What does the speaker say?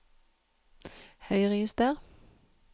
Høyrejuster